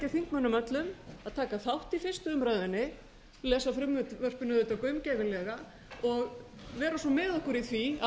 þingmönnum öllum að taka þátt í fyrstu umræðu lesa frumvörpin auðvitað gaumgæfilega og vera svo með okkur í því að